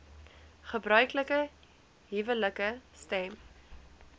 gebruiklike huwelike stem